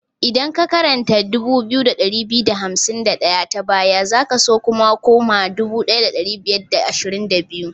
Idan ka karanta 2251 ta baya, za ka su koma 1522.